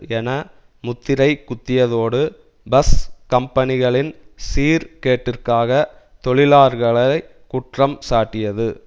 என முத்திரை குத்தியதோடு பஸ் கம்பனிகளின் சீர் கேட்டிற்காக தொழிலார்களை குற்றம் சாட்டியது